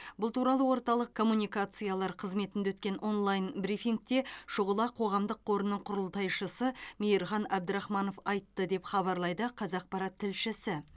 бұл туралы орталық коммуникациялар қызметінде өткен онлайн брифингте шұғыла қоғамдық қорының құрылтайшысы мейірхан абдрахманов айтты деп хабарлайды қазақпарат тілшісі